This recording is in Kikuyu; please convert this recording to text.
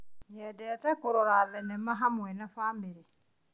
Nyendete kũrora thenema hamwe na bamĩrĩ.